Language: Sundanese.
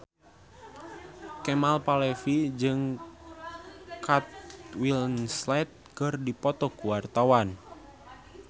Kemal Palevi jeung Kate Winslet keur dipoto ku wartawan